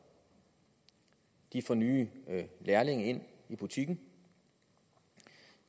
de får nye lærlinge ind i butikken